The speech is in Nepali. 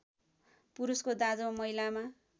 पुरुषको दाँजोमा महिलामा